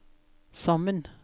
sammen